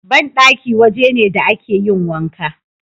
Banɗaki waje ne da a ke yin wanka